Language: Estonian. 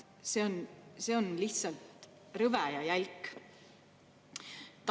See on lihtsalt rõve ja jälk!